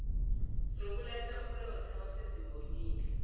zokulahla umlotha wasezimbonini